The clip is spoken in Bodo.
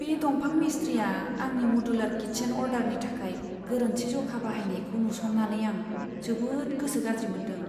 बे दंफां मिस्ट्रिया आंनि मडुलार किचेन अर्डारनि थाखाय गोरोन्थि जखा बाहायनायखौ नुसन्नानै आं जोबोद गोसो गाज्रि मोन्दों।